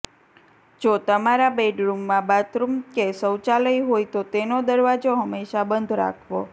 જો તમારા બેડરૂમમાં બાથરૂમ કે શૌચાલય હોય તો તેનો દરવાજો હંમેશાં બંધ રાખવો